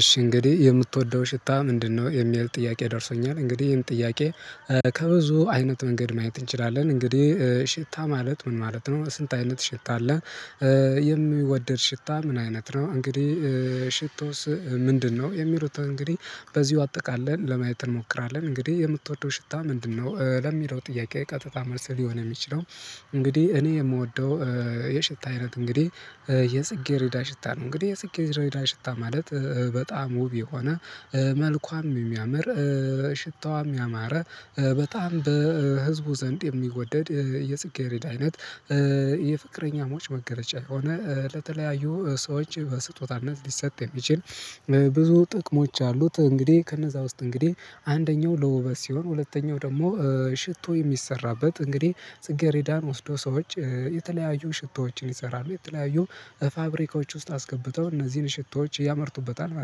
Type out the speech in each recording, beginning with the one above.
እሺ እንግዲህ የምትወደው ሽታ ምንድነው? የሚል ጥያቄ ደርሶኛል እንግዲህ ይሄን ጥያቄ ከብዙ አይነት መንገድ ማየት እንችላለን። እንግዲህ ሽታ ማለት ምን ማለት ነው። ስንት አይነት ሽታ አለ። የሚወደድ ሽታ ምን አይነት ነው? እንግዲህ ሽቶስ ምንድነው የሚሉት እንግዲህ በዚሁ አጥቃለን ለማየት እንሞክራለን። እንግዲህ የምትወደው ሽታ ምንድነው ለሚለው ጥያቄ ቀጥታ መልስ ሊሆን እሚችለው። እንግዲህ እኔ የምወደው የሽታ አይነት እንግዲህ የጽጌረዳ ሽታ ነው። እንግዲህ የጽጌረዳ ሽታ ማለት በጣም ውብ የሆነ መልኳም የሚያምር ሽታዋም ያማረ በጣም በህዝቡ ዘንድ የሚወደድ የጽጌረዳ አይነት። የፍቅረኛሞች መገለጫ የሆነ ለተለያዩ ሰዎች በስጦታነት ሊሰጥ የሚችል ብዙ ጥቅሞች አሉት። እንግዲህ ከነዛ ውስጥ እንግዲህ አንደኛው ለውበት ሲሆን ሁለተኛው ደግሞ ሽቶ እሚሰራበት እንግዲህ ጽጌሬዳን ወስዶ ሰዎች የተለያዩ ሽቶዎችን ይሰራሉ የተለያዩ ፋብሪካዎች ውስጥ አስገብተው እነዚህን ሽቶዎች ያመርቱበታል ማለት ነው።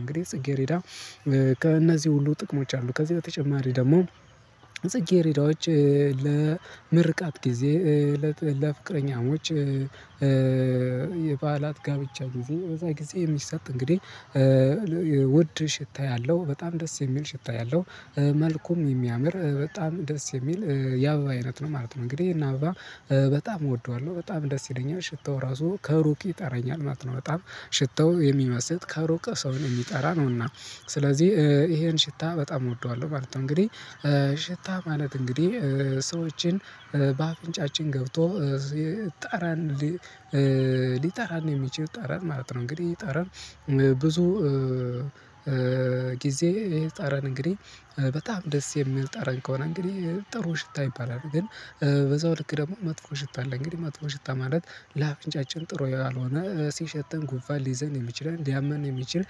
እንግዲህ ጽጌሬረዳ ከእነዚህ ሁሉ ጥቅሞች አሉ። ከዚህ በተጨማሪ ደግሞ ጽጌረዳዎች ለምርቃት ጊዜ ለፍቅረኛሞች በዓላት ጋብቻ ጊዜ በዛ ጊዜ የሚሰጥ እንግዲህ ውድ ሽታ ያለው በጣም ደስ የሚል ሽታ ያለው መልኩም የሚያምር በጣም ደስ የሚል የአበባ አይነት ነው። ማለት ነው እንግዲህ ይሄን አበባ በጣም እወደዋለሁ በጣም ደስ ይለኛል ሽታው እራሱ ከሩቅ ይጠራኛል ማለት ነው። በጣም ሽታው የሚመስጥ ከሩቅ ሰውን እሚጠራ ነውና ስለዚህ ይሄን ሽታ በጣም እወደዋለሁ ማለት ነው። እንግዲህ ሽታ ማለት እንግዲህ ሰዎችን በአፍንጫችን ገብቶ ጠረን ሊጠራን የሚችል ጠረን ማለት ነው። እንግዲህ ጠረን ብዙ ጊዜ ጠረን እንግዲህ በጣም ደስ የሚል ጠረን ከሆነ እንግዲህ ጥሩ ሽታ ይባላል። ግን በዛው ልክ ደግሞ መጥፎ ሽታ አለ። እንግዲህ መጥፎ ሽታ ማለት ለአፍንጫችን ጥሩ ያልሆነ ሲሸተን ጉንፍን ሊይዘን የሚችለን ሊያመን የሚችል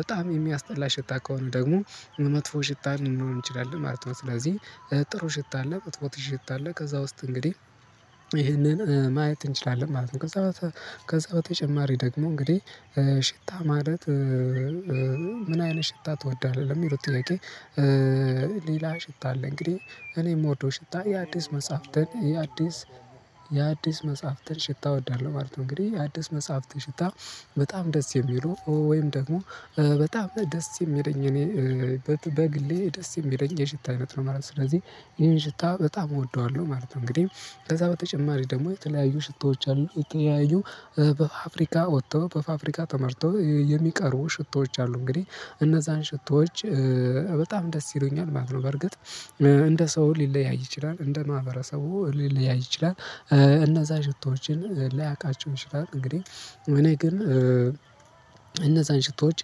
በጣም የሚያስጠላ ሽታ ከሆነ ደግሞ መጥፎ ሽታ ሊሆን ይችላል ማለት ነው። ስለዚህ ጥሩ ሽታ አለ መጥፎ ሽታ አለ ከዛ ውስጥ እንግዲህ ይሄንን ማየት እንችላለን ማለት ነው። ከዛ በተጨማሪ ደግሞ እንግዲህ ሽታ ማለት ምን አይነት ሽታ ትወዳለህ ለሚለው ጥያቄ ሌላ ሽታ አለ እንግዲህ እኔ እምወደው ሽታ የአዲስ መጽሐፍትን የአዲስ የአዲስ መጽሐፍትን ሽታ እወዳለሁ። ማለት ነው እንግዲህ የአዲስ መጽሐፍት ሽታ በጣም ደስ የሚሉ ወይም ደግሞ በጣም ደስ የሚለኝ እኔ በግሌ ደስ የሚለኝ የሽታ አይነት ነው ማለት ነው። ስለዚህ ይህን ሽታ በጣም እወደዋለሁ ማለት ነው። እንግዲህ ከዛ በተጨማሪ ደግሞ የተለያዩ ሽታዎች አሉ የተለያዩ በፋፍሪካ ወጥተው በፋፍሪካ ተመርተው የሚቀርቡ ሽቶዎች አሉ። እንግዲህ እነዛን ሽቶዎች በጣም ደስ ይሉኛል ማለት ነው። በርግጥ እንደ ሰው ሊለያይ ይችላል እንደ ማህበረሰቡ ሊለያይ ይችላል። እነዛ ሽቶዎችን ላያቃችው ይችላል እንግዲህ እኔ ግን እነዛን ሽቶዎች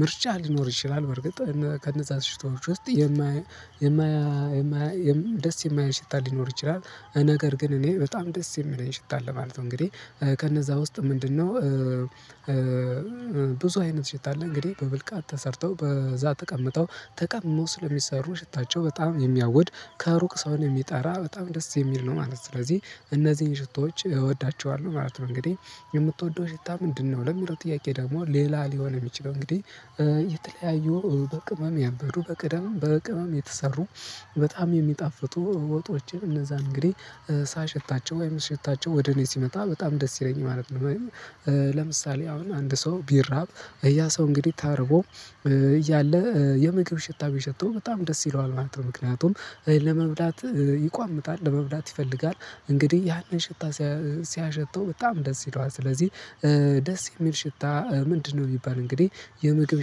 ምርጫ ሊኖር ይችላል። በርግጥ ከነዛ ሽቶች ውስጥ የማያ የማያ የማያ ደስ የማይል ሽታ ሊኖር ይችላል። ነገር ግን እኔ በጣም ደስ የሚለኝ ሽታ አለ ማለት ነው። እንግዲህ ከነዛ ውስጥ ምንድነው? ብዙ አይነት ሽታ አለ እንግዲህ በብልቃት ተሰርተው በዛ ተቀምጠው ተቀምመው ስለሚሰሩ ሽታቸው በጣም የሚያውድ ከሩቅ ሰውን የሚጣራ በጣም ደስ የሚል ነው ማለት ነው። ስለዚህ እነዚህን ሽቶዎች እወዳቸዋለሁ ማለት ነው። እንግዲህ የምትወደው ሽታ ምንድነው? ለሚል ጥያቄ ደግሞ ሌላ ሊሆን የሚችለው እንግዲህ የተለያዩ በቅመም ያበዱ በቅደም በቅመም የተሰሩ በጣም የሚጣፍጡ ወጦችን እነዛ እንግዲህ ሳሸታቸው ወይም ስሸታቸው ወደ እኔ ሲመጣ በጣም ደስ ይለኛል ማለት ነው። አሁን አንድ ሰው ቢራብ ያ ሰው እንግዲህ ተርቦ እያለ የምግብ ሽታ ቢሸተው በጣም ደስ ይለዋል ማለት ነው። ምክንያቱም ለመብላት ይቋምጣል ለመብላት ይፈልጋል እንግዲህ ያንን ሽታ ሲያሸተው በጣም ደስ ይለዋል። ስለዚህ ደስ የሚል ሽታ ምንድነው እሚባል እንግዲህ የምግብ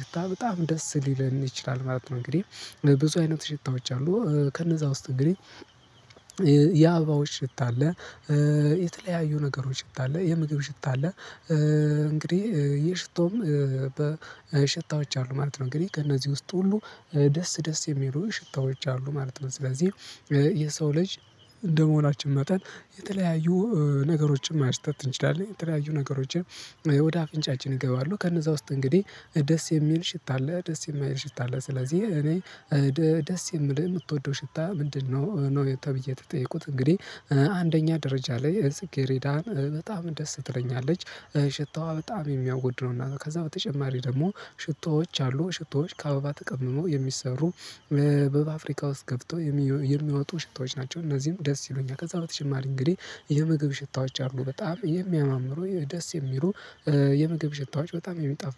ሽታ በጣም ደስ ሊለን ይችላል ማለት ነው። እንግዲህ ብዙ አይነት ሽታዎች አሉ። ከነዛ ውስጥ እንግዲህ የአበባዎች ሽታ አለ። የተለያዩ ነገሮች ሽታ አለ የምግብ ሽታ አለ። እንግዲህ የሽቶም በሽታዎች አሉ ማለት ነው። እንግዲህ ከእነዚህ ውስጥ ሁሉ ደስ ደስ የሚሉ ሽታዎች አሉ ማለት ነው። ስለዚህ የሰው ልጅ እንደመሆናችን መጠን የተለያዩ ነገሮችን ማሽተት እንችላለን። የተለያዩ ነገሮችን ወደ አፍንጫችን ይገባሉ ከነዛ ውስጥ እንግዲህ ደስ የሚል ሽታ አለ ደስ የማይል ሽታ አለ። ስለዚህ እኔ ደስ የሚልህ የምትወደው ሽታ ምንድነው? ነው ተብዬ ተጠየቁት እንግዲህ አንደኛ ደረጃ ላይ ጽኬረዳን በጣም ደስ ትለኛለች ሽታዋ በጣም የሚያወድ ነው። እና ከዛ በተጨማሪ ደግሞ ሽቶዎች አሉ ሽቶዎች ከአበባ ተቀምመው የሚሰሩ በፍብሪካ ውስጥ ገብተው የሚወጡ ሽታዎች ናቸው። እነዚህም ደስ ይሉኛል። ከዛ በተጨማሪ እንግዲህ የምግብ ሽታዎች አሉ። በጣም የሚያማምሩ ደስ የሚሉ የምግብ ሽታዎች በጣም የሚጣፍጡ